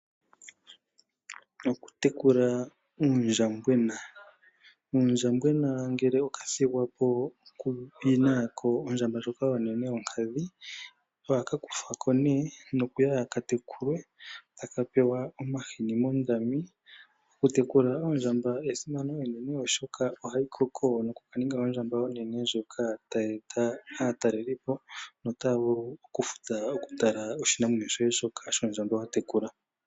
Okutekula uundjambwena, uundjambwena ngele oka thigwa po ku yina ondjamba ndjoka onene yonkadhi ohaka kuthwa po nee nokuya ka tekulwe taka pewa omahini moondami. Oku tekula oondjamba esimano eneno shoka ohayikoko noku ninga ondjamba onene ndjoka hayi eta aataleli po notaya vulu oku futa ya tale oshinamwenyo shoye shondjamba shoka wa tekula.